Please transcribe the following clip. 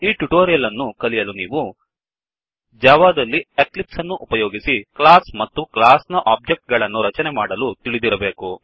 ಈ ಟ್ಯುಟೋರಿಯಲ್ ಅನ್ನು ಕಲಿಯಲು ನೀವು ಜಾವಾದಲ್ಲಿ ಎಕ್ಲಿಪ್ಸ್ ಅನ್ನು ಉಪಯೋಗಿಸಿ ಕ್ಲಾಸ್ ಮತ್ತು ಕ್ಲಾಸ್ ನ ಒಬ್ಜೆಕ್ಟ್ ಗಳನ್ನು ರಚನೆ ಮಾಡಲು ತಿಳಿದಿರಬೇಕು